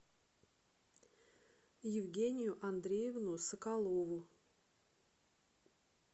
евгению андреевну соколову